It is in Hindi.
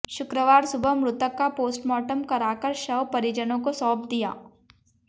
शुक्रवार सुबह मृतक का पोस्टमार्टम कराकर शव परिजनों को सौप दिया